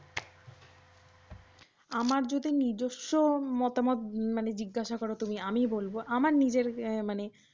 ? আমার যদি নিজস্ব মতামত মানে জিজ্ঞাসা করো তুমি আমি কি বলবো আমার নিজের মানে